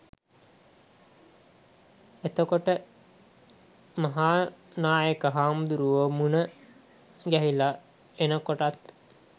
එතකොට මහා නායක හාමුදුරුවො මුණගැහිල එනකොටත්